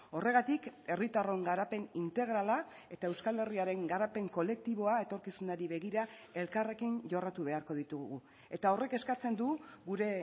horregatik herritarron garapen integrala eta euskal herriaren garapen kolektiboa etorkizunari begira elkarrekin jorratu beharko ditugu eta horrek eskatzen du gure